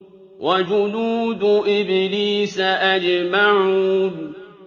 وَجُنُودُ إِبْلِيسَ أَجْمَعُونَ